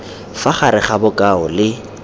fa gare ga bokao le